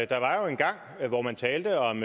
der var jo engang hvor man talte om